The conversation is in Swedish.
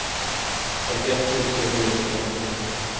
femtioett tusen niohundrafemtio